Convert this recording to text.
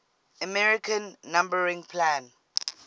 american numbering plan